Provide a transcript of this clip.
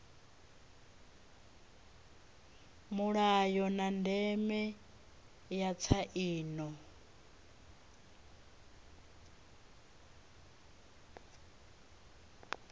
mulayo na ndeme ya tsaino